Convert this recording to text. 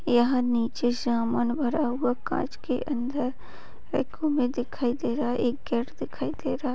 यहाँ नीचे सामान भरा हुआ काच के अंदर एक दिखाई दे रहा है एक गेट दिखाई दे रहा।